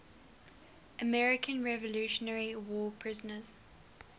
american revolutionary war prisoners